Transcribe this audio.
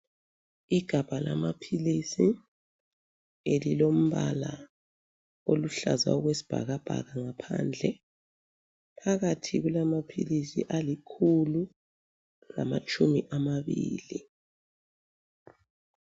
Igabha lamaphilisi elilombala oluhlaza okwesibhakabhaka ngaphandle. Phakathi kulamaphilisi alikhulu lamatshumi amabili.